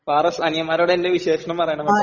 ഫാറസ്, അനിയന്മാരോട് എന്റെ വിശേഷണം പറയണം കേട്ടോ..